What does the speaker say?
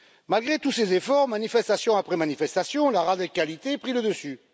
Malgré tous ses efforts, manifestation après manifestation, la radicalité prit le dessus.